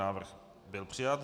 Návrh byl přijat.